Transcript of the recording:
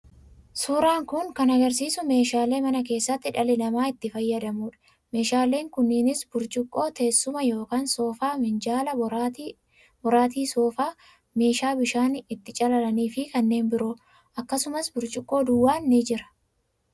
suuraan kun kan agarsiisu meeshaalee mana keessatti dhalli namaa itti fayyadamuudha. Meeshaaleen kunniinis: burcuqqoo, teessuma ( soofaa), minjaala, boraatii soofaa, meeshaa bishaan ittiin calalanii fi kanneen biroo. Akkasumas burcuqqoo duwwaan ni jira.